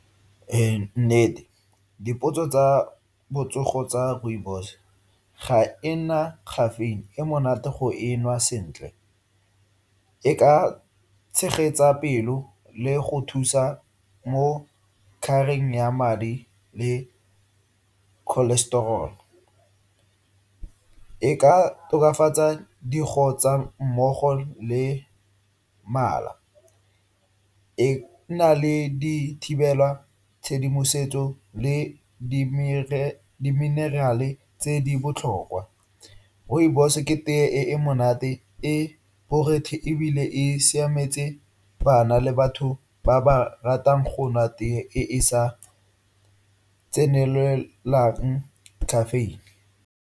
Ee, nnete dipotso tsa botsogo tsa rooibos ga ena caffeine, e monate go e nwa sentle. E ka tshegetsa pelo le go thusa mo ya madi le cholestrol. E ka tokafatsa mmogo le mala. E na le dithibela tshedimosetso le di-mineral-e tse di botlhokwa. Rooibos ke teye e e monate, e borothe ebile e siametse bana le batho ba ba ratang go nwa teye e e sa tsenelelang caffeine.